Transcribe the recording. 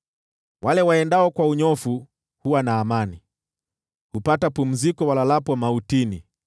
Wale waendao kwa unyofu huwa na amani; hupata pumziko walalapo mautini.